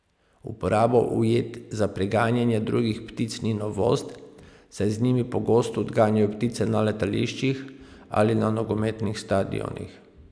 Uporaba ujed za preganjanje drugih ptic ni novost, saj z njimi pogosto odganjajo ptice na letališčih ali na nogometnih stadionih.